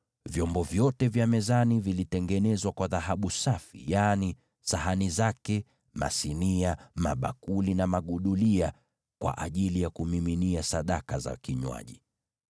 Vyombo vyote vya mezani vilitengenezwa kwa dhahabu safi: yaani sahani zake, masinia, na bakuli na bilauri zake kwa ajili ya kumiminia sadaka za vinywaji.